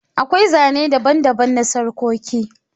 Akwai Zane daban-daban na sarƙoƙi.